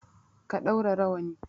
Ka ɗaura rawani!